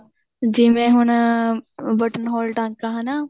ਜਿਵੇਂ ਹੁਣ button hold ਟਾਂਕਾ ਹਨਾ